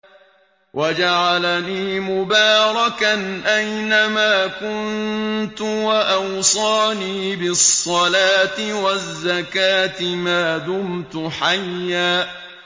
وَجَعَلَنِي مُبَارَكًا أَيْنَ مَا كُنتُ وَأَوْصَانِي بِالصَّلَاةِ وَالزَّكَاةِ مَا دُمْتُ حَيًّا